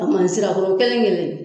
A b'an sig'a kɔrɔ kelen kelen